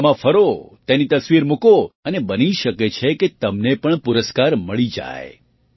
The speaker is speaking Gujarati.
મેળામાં ફરો તેની તસવીરો મૂકો અને બની શકે કે તમને પણ પુરસ્કાર મળી જાય